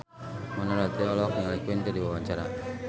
Mona Ratuliu olohok ningali Queen keur diwawancara